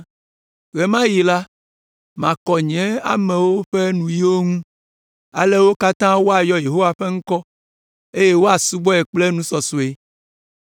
“Ɣe ma ɣi la, makɔ nye amewo ƒe nuyiwo ŋu, ale wo katã woayɔ Yehowa ƒe ŋkɔ, eye woasubɔe kple nusɔsɔe.